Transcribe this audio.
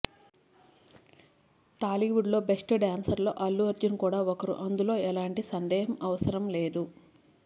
టాలీవుడ్ లో best dancer లో అల్లు అర్జున్ కూడా ఒకరు అందులో ఎలాంటి సందేహం అవసరం లేదు